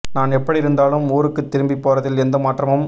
நான் எப்படியிருந்தாலும் ஊருக்குத் திரும்பிப் போறதில் எந்த மாற்றமும்